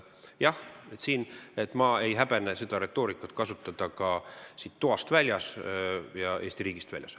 Jah, ma ei häbene seda retoorikat kasutada ka siit ruumist ja Eesti riigist väljaspool.